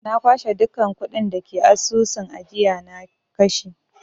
Na kwashe dukkan kuɗin da ke cikin asusun ajiyana na kashe.